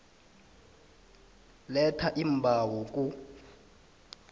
letha iimbawo ku